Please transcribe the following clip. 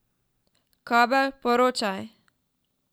Kabel, poročaj.